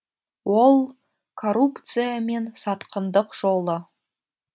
ол коррупция мен сатқындық жолы